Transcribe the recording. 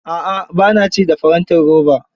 A'a ba na ci a farantin roba.